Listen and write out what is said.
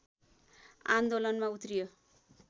आन्दोलनमा उत्रियो